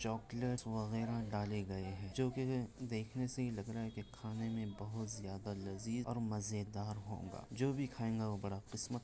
chocolate डाले लग गए है जो की देखने से ही लग रहे है खाने में बहुत ज्यादा लजीज और मजेदार होंगा जो भी खायेगा वो बड़ा किस्मत --